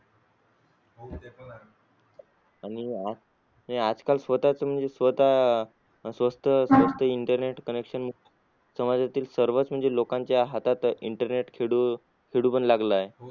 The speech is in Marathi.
आणि आज काल स्वतःच म्हणजे स्वतः स्वस्त स्वस्त internet commission समाजातील म्हणजे सर्वच लोकांच्या हातात internet खेळू खेळू पण लागलेला आहे.